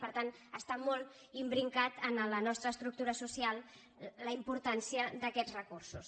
per tant està molt im·bricada en la nostra estructura social la importància d’aquests recursos